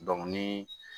ni